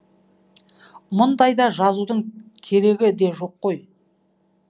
мұндайда жазудың керегі де жоқ қой